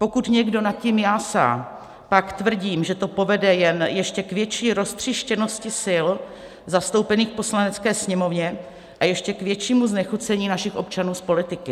Pokud někdo nad tím jásá, pak tvrdím, že to povede jen ještě k větší roztříštěnosti sil zastoupených v Poslanecké sněmovně a ještě k většímu znechucení našich občanů z politiky.